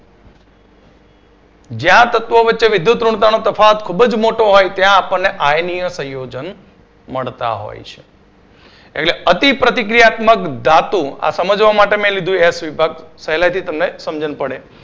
જે આ તત્વો વચ્ચે વિદ્યુતઋણતાનો તફાવત ખૂબ જ મોટો હોય છે ત્યાં આપણને આયનીય સંયોજન મળતા હોય છે. એટલે અતિપ્રતિક્રિયાત્મક ધાતુ આ સમજવા માટે મેં લીધું S વિભાગ પહેલાથી તમને સમજન પડે.